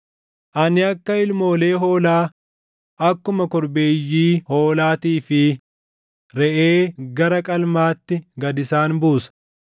“Ani akka ilmoolee hoolaa, akkuma korbeeyyii hoolaatii fi reʼee gara qalmaatti gad isaan buusa.